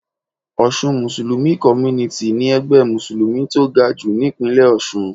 Osun Muslim Community ni ẹgbẹ́ mùsùlùmí tó gajù nípínlẹ̀ Ọ̀sun